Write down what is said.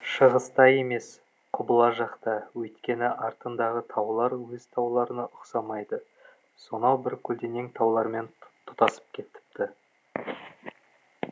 шығыста емес құбыла жақта өйткені артындағы таулар өз тауларына ұқсамай ды сонау бір көлденең таулармен тұтасып кетіпті